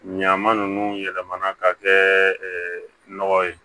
Ɲama ninnu yɛlɛmana ka kɛ nɔgɔ ye